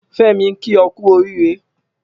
Femi n ki ọ kù órìré